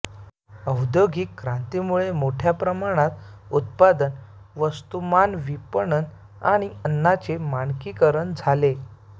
औद्योगिक क्रांतीमुळे मोठ्या प्रमाणात उत्पादन वस्तुमानविपणन आणि अन्नाचे मानकीकरण झाले